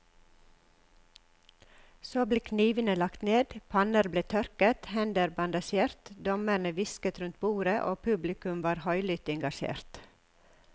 Så ble knivene lagt ned, panner ble tørket, hender bandasjert, dommerne hvisket rundt bordet og publikum var høylytt engasjert.